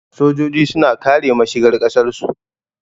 Sojoji suna kare mashigar ƙasar su